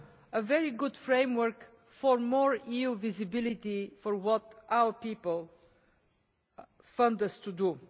a very good framework for more EU visibility for doing what our people fund us to do.